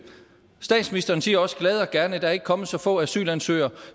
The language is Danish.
statsministeren siger også glad og gerne at der ikke er kommet så få asylansøgere